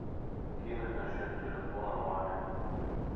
кинуть на счет телефона маме